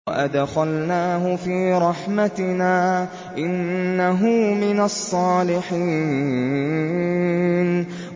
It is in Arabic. وَأَدْخَلْنَاهُ فِي رَحْمَتِنَا ۖ إِنَّهُ مِنَ الصَّالِحِينَ